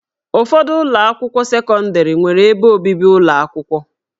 Ụfọdụ ụlọ akwụkwọ sekọndrị nwere ebe obibi ụlọ akwụkwọ